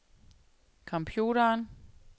computeren